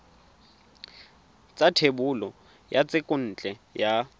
sa thebolo ya thekontle ya